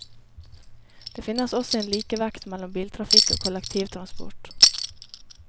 Det finnes også en likevekt mellom biltrafikk og kollektivtransport.